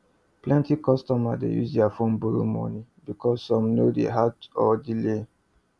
plenty customers dey use their phone borrow moni because some no day hard or delay